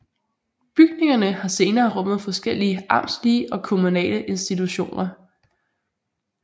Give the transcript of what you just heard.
Bygningerne har senere rummet forskellige amtslige og kommunale institutioner